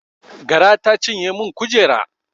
Gara ta cinye min kujera